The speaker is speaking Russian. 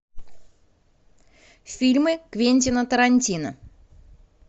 фильмы квентина тарантино